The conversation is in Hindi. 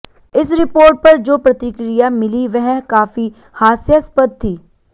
इस रिपोर्ट पर जो प्रतिक्रिया मिली वह काफी हास्यास्पद थी